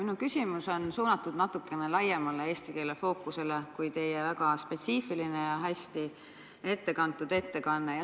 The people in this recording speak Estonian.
Minu küsimus on suunatud natukene laiemale eesti keele fookusele kui teie väga spetsiifiline ja hästi ette kantud ettekanne.